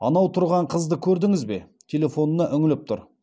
анау тұрған қызды көрдіңіз бе телефонына үңіліп тұр